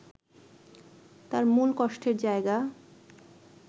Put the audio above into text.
তার মূল কষ্টের জায়গা